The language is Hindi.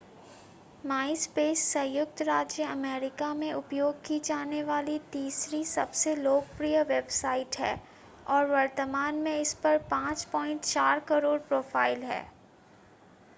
माइस्पेस संयुक्त राज्य अमेरिका में उपयोग की जाने वाली तीसरी सबसे लोकप्रिय वेबसाइट है और वर्तमान में इसपर 5.4 करोड़ प्रोफाइल हैं